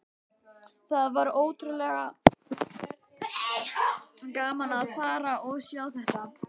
Það var ógurlega gaman að fara og sjá þetta.